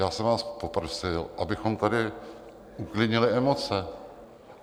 Já jsem vás poprosil, abychom tady uklidnili emoce.